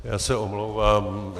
Já se omlouvám.